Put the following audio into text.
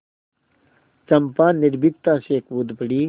चंपा निर्भीकता से कूद पड़ी